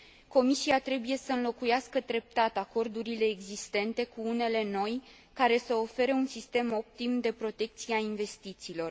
Comisia trebuie să înlocuiască treptat acordurile existente cu unele noi, care să ofere un sistem optim de protecție a investițiilor.